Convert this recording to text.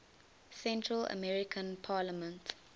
central american parliament